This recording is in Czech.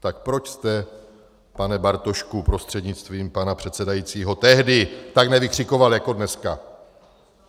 Tak proč jste, pane Bartošku prostřednictvím pana předsedajícího, tehdy tak nevykřikoval jako dneska?